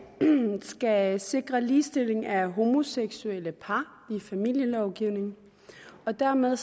skal sikre ligestilling af homoseksuelle par i familielovgivningen og dermed